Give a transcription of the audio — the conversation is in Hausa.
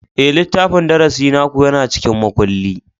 Ee, littafin darasi naku yana cikin makulli.